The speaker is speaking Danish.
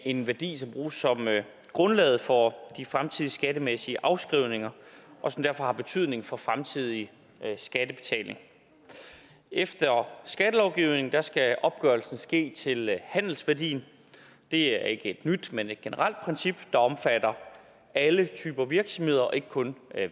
en værdi som bruges som grundlaget for de fremtidige skattemæssige afskrivninger og som derfor har betydning for den fremtidige skattebetaling efter skattelovgivningen skal opgørelsen ske til handelsværdien det er ikke et nyt men et generelt princip der omfatter alle typer virksomheder og ikke kun